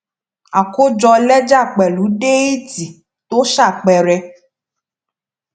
àkójọ lẹjà pẹlú déètì tó ṣàpẹẹrẹ